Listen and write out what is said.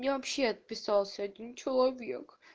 меня вообще отписался один человек